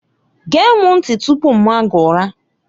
Gee m ntị tupu m maa gị ụra!